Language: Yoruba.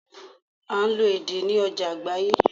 À n lo èdè ní ojà àgbáyé